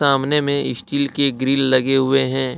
सामने में स्टील के ग्रील लगे हुवे हैं।